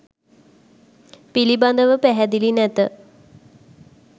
පිළිබඳව පැහැදිලි නැත.